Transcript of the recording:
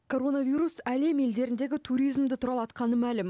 коронавирус әлем елдеріндегі туризмді тұралатқаны мәлім